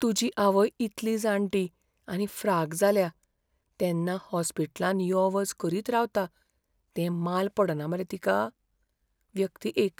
तुजी आवय इतली जाणटी आनी फ्राक जाल्या तेन्ना हॉस्पिटलांत यो वच करीत रावता तें माल पडना मरे तिका? व्यक्ती एक